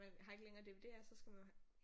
Man har ikke længere DVD'er så skal man have